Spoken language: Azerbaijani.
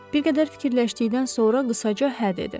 Bir qədər fikirləşdikdən sonra qısaca hə dedi.